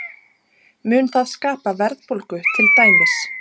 Mun það skapa verðbólgu til dæmis?